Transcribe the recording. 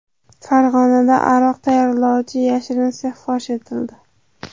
Farg‘onada aroq tayyorlovchi yashirin sex fosh etildi.